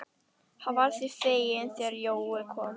Hann varð því feginn þegar Jói kom.